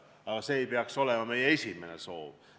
Aga see ei peaks olema meie esimene soov.